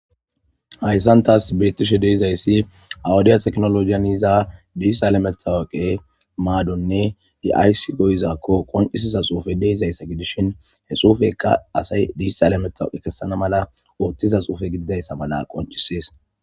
hayssan taas beettishe deizayssi awudiya teknoloiyaniiza disialametawaqe maadonne yi7ayssi goyizakko qoncisiza xuufe deizayssa gidishin he xuufekka asay dishaalametawuqe kessana mala ooththiza xuufe gididayssa mala qoncisees